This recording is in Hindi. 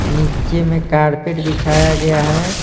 नीचे में कारपेट बिछाया गया है।